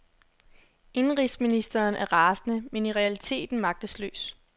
Indenrigsministeren er rasende, men i realiteten magtesløs.